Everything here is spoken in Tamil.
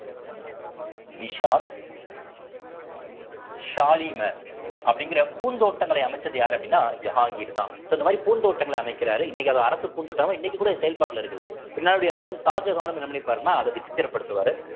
நிஷாத் ஷாலிமர் அப்படிங்கிற பூந்தோட்டங்களை அமைச்சது யாரு அப்படின்னா ஜகாங்கீர் தான் so இந்த மாதிரி பூந்தோட்டங்களை அமைக்கிறாரு இன்னைக்கு அது அரசு பூந்தோட்டமா இன்னைக்கு கூட செயல்பாட்டிலே இருக்குது இன்னாருயுடைய மகன் ஷாஜஹானும் என்ன பண்ணிருப்பார்ன்னா அத விசித்திரப்படுத்துவாரு